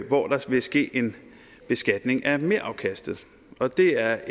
hvor der vil ske en beskatning af merafkastet og det er